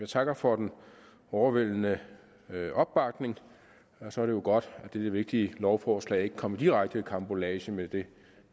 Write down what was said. takker for den overvældende opbakning og så er det jo godt at dette vigtige lovforslag ikke kommer direkte i karambolage med det